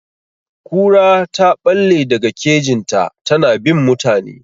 Kura ta ɓalle daga kejin ta, ta na bin mutane.